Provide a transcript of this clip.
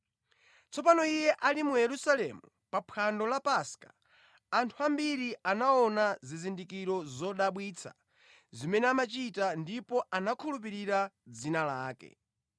Tsopano Iye ali mu Yerusalemu pa phwando la Paska, anthu ambiri anaona zizindikiro zodabwitsa zimene amachita ndipo anakhulupirira dzina lake.